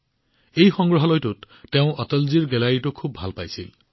তেওঁ এই সংগ্ৰহালয়ত অটলজীৰ গেলেৰীখন বহুত ভাল পাইছিল